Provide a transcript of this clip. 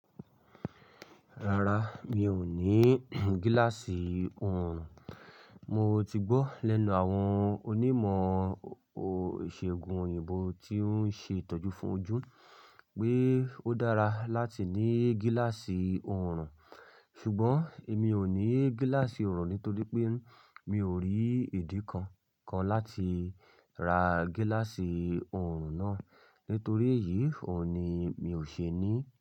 Rárá, mi ò ní gíláàsì òòrùn. Mo ti gbọ́ lẹ́nu àwọn onímọ̀ ìṣègùn òyìnbó tí ó ń ṣe ìtọ́jú fún ojú pé ó dára láti ní gíláàsì òòrùn. Ṣùgbọ́n èmi ò ní gíláàsì òòrùn nítorí pé mi ò rí ìdí kan kan láti ra gíláàsì òòrùn náà. Nítorí èyí ò ní mi ò ṣe ní.